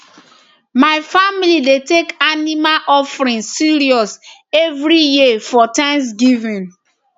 my family dey take animal offering serious every year for thanksgiving